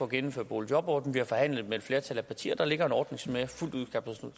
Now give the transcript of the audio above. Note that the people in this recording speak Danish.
gennemføre boligjobordningen vi har forhandlet med et flertal af partier og der ligger en ordning som jeg fuldt ud kan